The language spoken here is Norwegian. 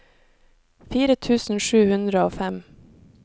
fire tusen sju hundre og fem